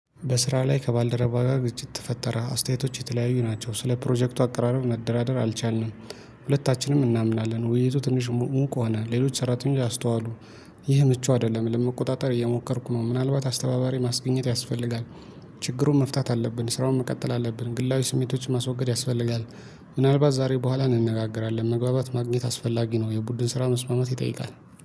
በስራ ላይ ከባልደረባ ጋር ግጭት ተፈጠረ አስተያየቶች የተለያዩ ናቸው ስለ ፕሮጀክቱ አቀራረብ መደራደር አልቻልንም። ሁለታችንም እናምናለን ውይይቱ ትንሽ ሙቋናል ሌሎች ሰራተኞች አስተዋሉ። ይህ ምቹ አይደለም ለመቆጣጠር እየሞከርኩ ነው። ምናልባት አስተባባሪ ማስገኘት ያስፈልጋል። ችግሩን መፍታት አለብን ስራውን መቀጠል አለብን። ግላዊ ስሜቶችን ማስወገድ ያስፈልጋል። ምናልባት ዛሬ በኋላ እንነጋገራለን መግባባት ማግኘት አስፈላጊ ነው። የቡድን ስራ መስማማት ይጠይቃል